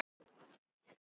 Eyþór vísar þessu á bug.